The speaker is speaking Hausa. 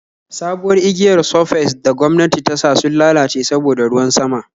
sabuwar igiyar surface da gwamnati tasa sun lalace saboda ruwan sama